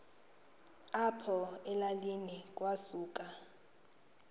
apho elalini kwasuka